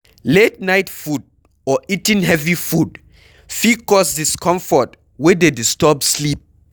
late night food or eating heavy food fit cause discomfort wey dey disturb sleep